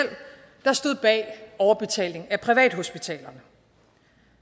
der stod bag overbetaling af privathospitalerne